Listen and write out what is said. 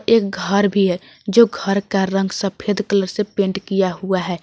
एक घर भी है जो घर का रंग सफेद कलर से पेंट किया हुआ है।